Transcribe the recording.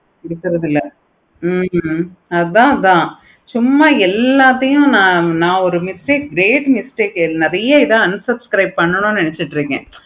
பிடிக்கிறது இல்ல. ஹம் அத அதான் எல்லாத்தையும் நா ஒரு mistake great mistake நெறைய இத unsubscribe பண்ணனும் நினைச்சிட்டு இருக்கேன்.